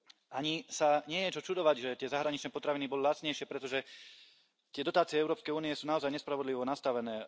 Ani sa nie je čo čudovať, že tie zahraničné potraviny boli lacnejšie, pretože tie dotácie Európskej únie sú naozaj nespravodlivo nastavané.